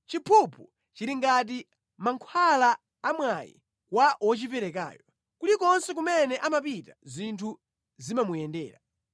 Chiphuphu chili ngati mankhwala amwayi kwa wochiperekayo; kulikonse kumene amapita zinthu zimamuyendera.